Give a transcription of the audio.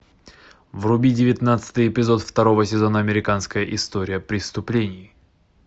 вруби девятнадцатый эпизод второго сезона американская история преступлений